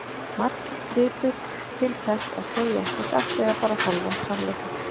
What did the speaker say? Margir gripu til þess að segja ekki satt eða bara hálfan sannleika.